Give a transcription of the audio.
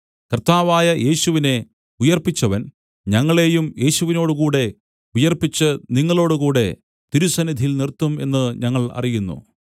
കർത്താവായ യേശുവിനെ ഉയിർപ്പിച്ചവൻ ഞങ്ങളെയും യേശുവിനോടുകൂടെ ഉയിർപ്പിച്ച് നിങ്ങളോടുകൂടെ തിരുസന്നിധിയിൽ നിർത്തും എന്ന് ഞങ്ങൾ അറിയുന്നു